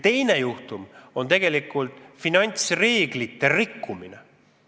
Teine kategooria on finantsreeglite rikkumine.